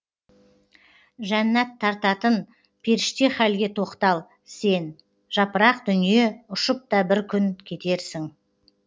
жәннәт тартатын періште халге тоқтал сен жапырақ дүние ұшып та бір күн кетерсің